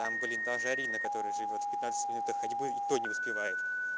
там блин даже арина которая живёт в пятнадцати минутах ходьбы и то не успевает